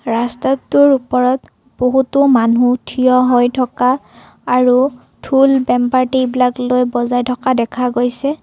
ৰাস্তাটোৰ ওপৰত বহুতো মানু্হ থিয় হৈ থকা আৰু ঢোল বেম পাৰ্টি এইবিলাক লৈ বজাই থকা দেখা গৈছে।